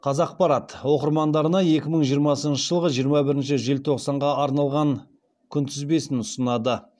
қазақпарат оқырмандарына екі мың жиырмасыншы жылғы жиырма бірінші желтоқсанға арналған күнтізбесін ұсынады